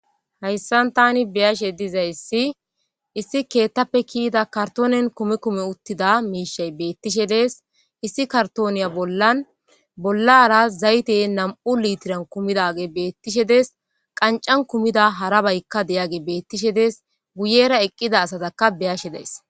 Haysan tani be'ishe diza issi, issi keeththape kiyida karttonen kumi kumi uttida mishay bettishe dees. Issi karttoniya bollan, bollara zaytenne na'amu littiren kumidage bettishe dees. qanccan kumida harabayka de'age bettishe des. guyera eqqidda asatakka be'ashe days.